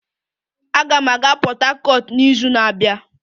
Aga m aga Port Harcourt n'izu na-abịa